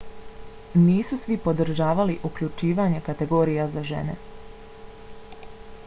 nisu svi podržavali uključivanje kategorija za žene